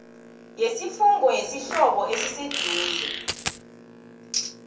yesifungo yesihlobo esiseduze